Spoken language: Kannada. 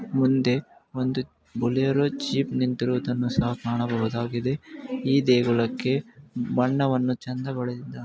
ಮುಂದೆ ಒಂದು ಜೀಪ್ ನಿಂತಿರುವುದನ್ನು ಕಾಣಬಹುದು ಈ ದೇಗುಲಕ್ಕೆ ಬಣ್ಣಗಳನ್ನು ಚೆಂದ ಬೆಳೆದಿದ್ದಾರೆ.